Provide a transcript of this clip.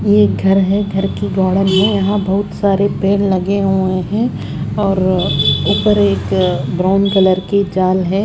ये एक घर है घर की है यहाँ बोहोत सारे पेड़ लगे हुए है और ऊपर ब्राउन कलर की जाल है।